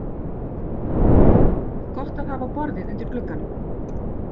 Gott að hafa borðið undir glugganum.